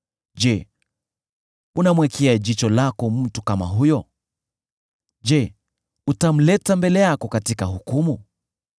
Je, unamwekea jicho lako mtu kama huyo? Je, utamleta mbele yako katika hukumu?